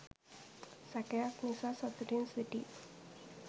සැකයක් නිසා සතුටින් සිටි